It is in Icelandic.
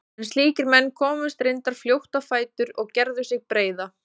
En slíkir menn komust reyndar fljótt á fætur og gerðu sig breiða.